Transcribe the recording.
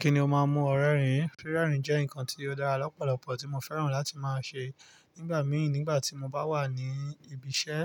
Kíni ó máa ń mú ọ rẹ́rìn? Rí rẹ́rìn jẹ́ nǹkan tí ó dára lọ́pọ̀lọpọ̀ tí mo fẹ́ràn láti máa ṣe nígbà mìíràn nígbà tí mo bá wà ní ibi iṣẹ́